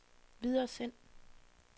videresend